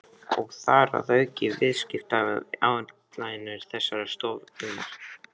Og þar að auki viðskiptaáætlanir þessarar stofnunar.